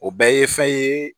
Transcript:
O bɛɛ ye fɛn ye